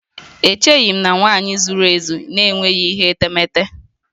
Echeghị m na nwanyị zuru ezu n'enweghị ihe etemete